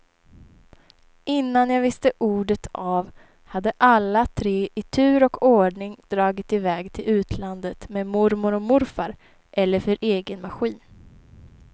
Innan jag visste ordet av hade alla tre i tur och ordning dragit iväg till utlandet med mormor och morfar eller för egen maskin.